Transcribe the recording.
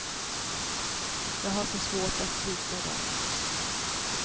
Jag har så svårt att svika dem.